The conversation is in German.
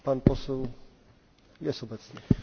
Herr Präsident, meine sehr geehrten Damen und Herren!